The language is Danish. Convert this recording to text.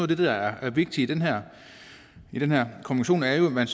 det der er vigtigt i den her konvention er at man